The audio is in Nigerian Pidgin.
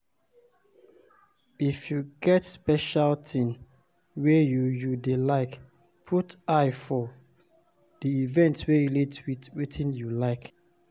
If you get special thing wey you you dey like, put eye for di event wey relate with wetin you like